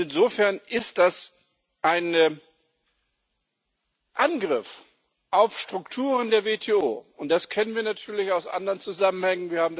Insofern ist das ein Angriff auf die Strukturen der WTO, und das kennen wir natürlich aus anderen Zusammenhängen.